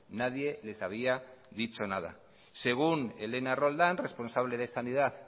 nadie les había dicho nada según elena roldán responsable de sanidad